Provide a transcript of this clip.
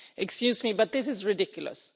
Excuse me, but this is ridiculous.